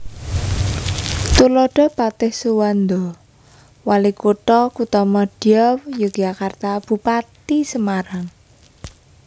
Tuladha Patih Suwanda Walikutha Kuthamadya Yogyakarta Bupati Semarang